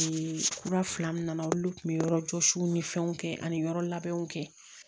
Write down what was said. kura fila min nana olu tun bɛ yɔrɔ jɔsiw ni fɛnw kɛ ani yɔrɔ labɛnw kɛ